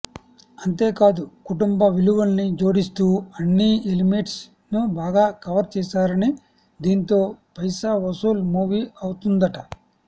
అంతేకాదు కుటుంబ విలువల్ని జోడిస్తూ అన్నీ ఎలిమెంట్స్ ను బాగా కవర్ చేశారని దీంతో పైసా వసూల్ మూవీ అవుతుందట